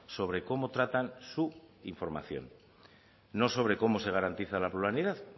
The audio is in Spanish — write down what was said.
sobre cómo tratan su información no sobre cómo se garantiza la pluralidad